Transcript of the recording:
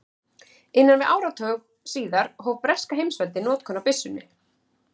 innan við áratug síðar hóf breska heimsveldið notkun á byssunni